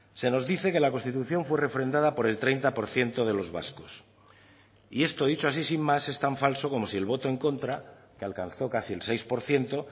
se nos dice que la constitución fue refrendada por el treinta por ciento de los vascos y esto dicho así sin más es tan falso como si el voto en contra que alcanzó casi el seis por ciento